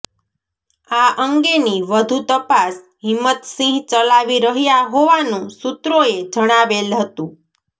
આ અંગેની વઘુ તપાસ હીમતસિંહ ચલાવી રહયા હોવાનુ સુત્રોએ જણાવેલ હતુ